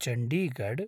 Chandigarh